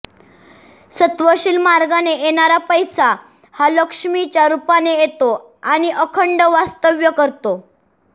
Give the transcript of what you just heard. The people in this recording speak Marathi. सत्वशील मार्गाने येणारा पैसा हा लक्ष्मीच्या रूपाने येतो आणि अखंड वास्तव्य करतो